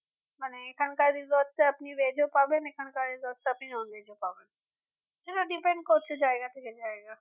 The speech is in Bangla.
মানে এখানকার resorts আপনি veg ও পাবেন এখানকার resorts এ আপনি non veg ও পাবেন হ্যাঁ depend করছে জায়গা থেকে জায়গা